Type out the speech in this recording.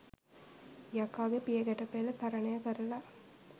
යකාගේ පියගැටපෙල තරණය කරලා